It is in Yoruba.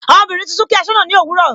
Ọmọbìnrin tuntun kí asọna ni òwúrọ̀.